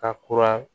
Ka kura